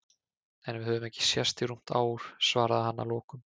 En við höfum ekki sést í rúmt ár, svaraði hann að lokum.